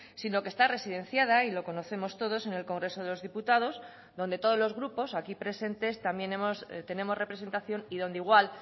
sino que está residenciada y lo conocemos todos en el congreso de los diputados donde todos los grupos aquí presentes también tenemos representación y donde igual